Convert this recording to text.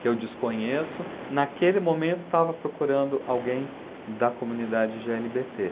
que eu desconheço, naquele momento estava procurando alguém da comunidade gê ele bê tê.